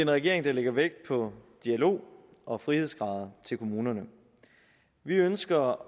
regering der lægger vægt på dialog og frihedsgrader til kommunerne vi ønsker